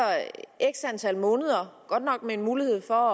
x antal måneder godt nok med mulighed for